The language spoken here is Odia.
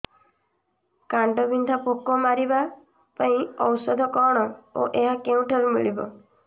କାଣ୍ଡବିନ୍ଧା ପୋକ ମାରିବା ପାଇଁ ଔଷଧ କଣ ଓ ଏହା କେଉଁଠାରୁ ମିଳିବ